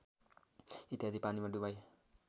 इत्यादि पानीमा डुबाई